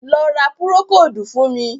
Lọ ra Púrókódù fún mi!